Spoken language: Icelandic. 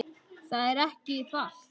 Það er ekki falt